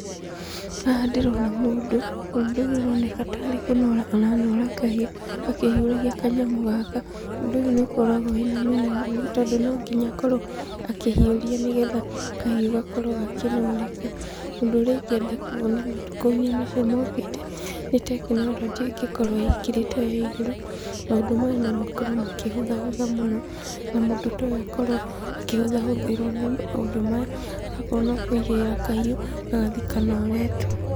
Haha ndĩrona mũndũ, mũndũ ũyũ aroneka tarĩ kũnora aranora kahiũ, akĩhiũragia kanyamũ gaka. Ũndũ ũyũ nĩũkoragwo wĩna mĩnoga mĩũru tondũ nonginya akorwo akĩhiũria nĩgetha kahiũ gakorwo gakĩnoreka. Ũndũ ũrĩa ingĩenda kuona matukũ-inĩ macio mokĩte, nĩ tekinorojĩ ũrĩa ĩngĩkorwo ingĩrĩte ĩyo ya igũrũ, maũndũ maya nomakorwo makĩhũtha hũtha mũno, na mũndũ ta ũyũ akorwo akĩhũtha hũthĩrwo nĩ maũndũ maya, agakorwo nokũigĩrĩra kahiũ, gagathiĩ kanoretwo.